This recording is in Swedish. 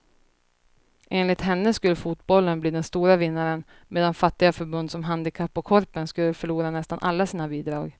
Enligt henne skulle fotbollen bli den stora vinnaren medan fattiga förbund som handikapp och korpen skulle förlora nästan alla sina bidrag.